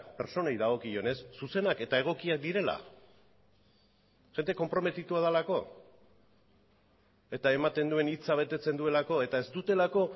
pertsonei dagokionez zuzenak eta egokiak direla jende konprometitua delako eta ematen duten hitza betetzen dutelako eta ez dutelako